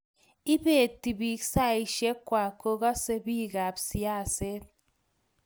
ibeti biik saishek kwai kokase biikap siaset